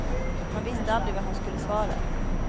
Man visste aldrig vad han skulle svara.